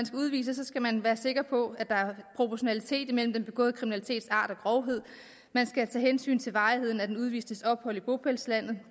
skal udvises skal man være sikker på at der er proportionalitet imellem den begåede kriminalitets art og grovhed man skal tage hensyn til varigheden af den udvistes ophold i bopælslandet